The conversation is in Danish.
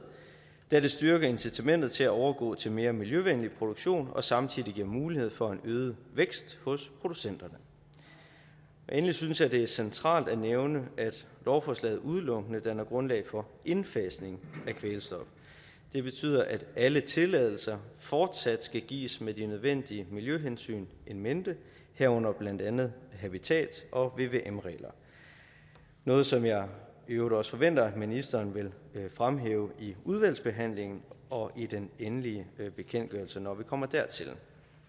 da det styrker incitamentet til at overgå til mere miljøvenlig produktion og samtidig giver mulighed for en øget vækst hos producenterne endelig synes jeg det er centralt at nævne at lovforslaget udelukkende danner grundlag for indfasning af kvælstof det betyder at alle tilladelser fortsat skal gives med de nødvendige miljøhensyn in mente herunder blandt andet habitat og vvm regler noget som jeg i øvrigt også forventer ministeren vil fremhæve i udvalgsbehandlingen og i den endelige bekendtgørelse når vi kommer dertil